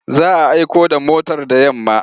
Za a aiko da motar da yamma.